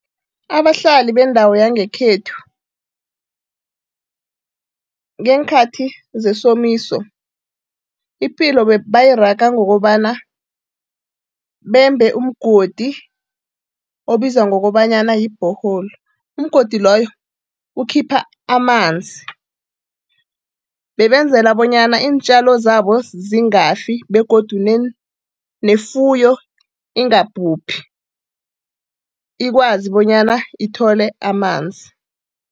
Abahlali bendawo yangekhethu ngeenkhathi zesomiso ipilo bayiraga ngokobana bembe umgodi obizwa ngokobanyana yi-borehole. Umgodi loyo ukhipha amanzi, bebenzela bonyana iintjalo zabo zingafi begodu nefuyo ingabhubhi, ikwazi bonyana ithole amanzi.